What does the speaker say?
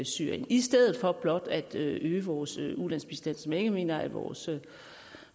syrien i stedet for blot at øge vores ulandsbistand som jeg ikke mener at vores